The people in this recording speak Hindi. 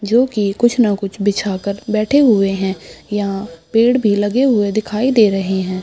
जोकि कुछ ना कुछ बिछाकर बैठे हुए है यहाँ पेड़ भी लगे हुए दिखाई दे रहे हैं।